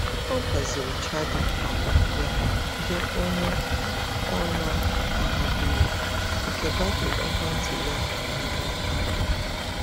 Ọ gbaziri chaja um ya nye onye ọ na-amabughị nke batrị ekwentị ya anwụọla kpamkpam.